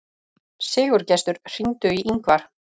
Sigurgestur, hringdu í Yngvar.